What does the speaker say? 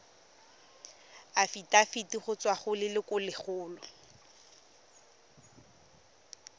afitafiti go tswa go lelokolegolo